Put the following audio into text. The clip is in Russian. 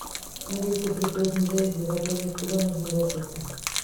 алиса при позднем заезде в отеле куда можно обратиться